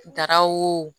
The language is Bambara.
Daraw